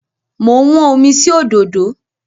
Mo ń wọ́n omi sí òdòdó.